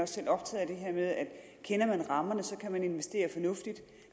selv optaget af det her med at kender man rammerne så kan man investere fornuftigt